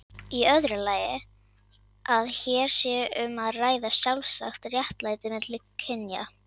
Í öðru lagi að hér sé um að ræða sjálfsagt réttlæti milli kynja.